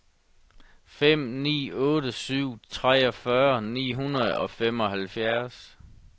fem ni otte syv treogfyrre ni hundrede og femoghalvfjerds